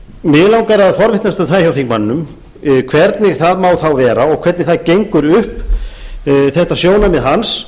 mig langar að forvitnast um það hjá þingmanninum hvernig það má þá vera og hvernig það gengur upp þetta sjónarmið hans